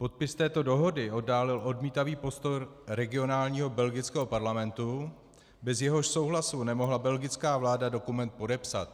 Podpis této dohody oddálil odmítavý postoj regionálního belgického parlamentu, bez jehož souhlasu nemohla belgická vláda dokument podepsat.